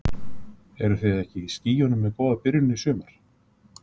Eruð þið ekki í skýjunum með góða byrjun í sumar?